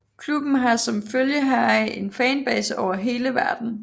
Klubben har som følge heraf en fanbase over hele verden